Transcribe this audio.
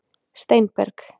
Steinberg